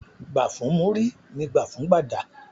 Gbà fún múrí, ní gbà fún gbàdà